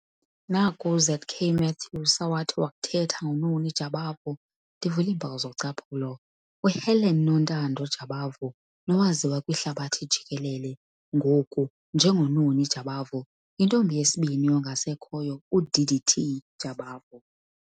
Naku uZ.K. Matthews awathi wakuthetha ngoNoni Jabavu, ndivula iimpawu zocaphulo, "UHelen Nontando Jabavu, nowaziwa kwihlabathi jikelele ngoku njengoNoni Jabavu, yintombi yesibini yongasekhoyo uD.D.T. Jabavu.